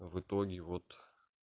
в итоге вот